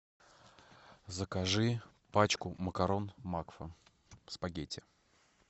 закажи пачку макарон макфа спагетти